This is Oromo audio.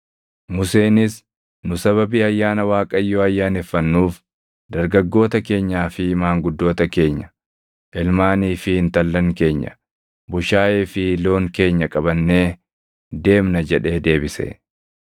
Museenis, “Nu sababii ayyaana Waaqayyoo ayyaaneffannuuf dargaggoota keenyaa fi maanguddoota keenya, ilmaanii fi intallan keenya, bushaayee fi loon keenya qabannee deemna” jedhee deebise.